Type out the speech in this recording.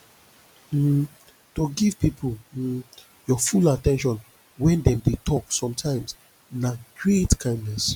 um to give pipo um your full at ten tion when dem de talk sometimes na great kindness